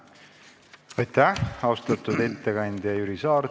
Aitäh, austatud ettekandja Jüri Saar!